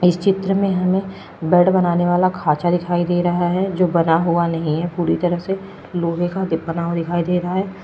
इस चित्र में हमें बेड बनाने वाला खाचा दिखाई दे रहा है जो बना हुआ नहीं है पूरी तरह से लोहे का दीप बना हुआ दिखाई दे रहा है।